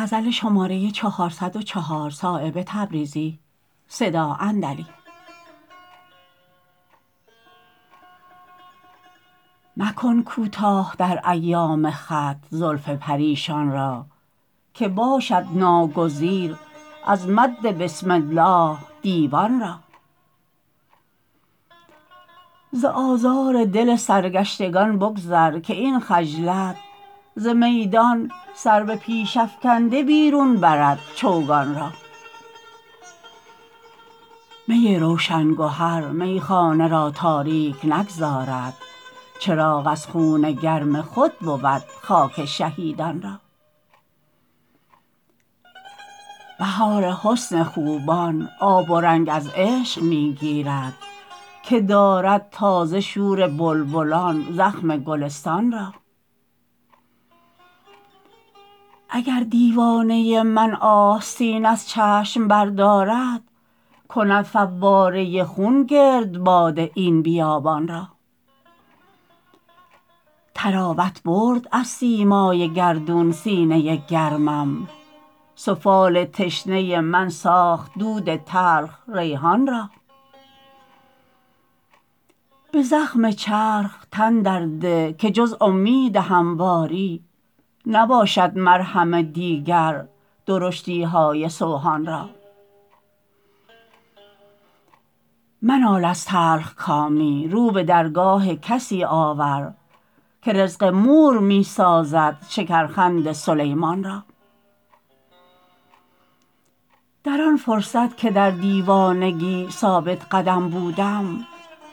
مکن کوتاه در ایام خط زلف پریشان را که باشد ناگزیر از مد بسم الله دیوان را ز آزار دل سرگشتگان بگذر که این خجلت ز میدان سر به پیش افکنده بیرون برد چوگان را می روشن گهر میخانه را تاریک نگذارد چراغ از خون گرم خود بود خاک شهیدان را بهار حسن خوبان آب و رنگ از عشق می گیرد که دارد تازه شور بلبلان زخم گلستان را اگر دیوانه من آستین از چشم بردارد کند فواره خون گردباد این بیابان را طراوت برد از سیمای گردون سینه گرمم سفال تشنه من ساخت دود تلخ ریحان را به زخم چرخ تن در ده که جز امید همواری نباشد مرهم دیگر درشتی های سوهان را منال از تلخکامی رو به درگاه کسی آور که رزق مور می سازد شکرخند سلیمان را در آن فرصت که در دیوانگی ثابت قدم بودم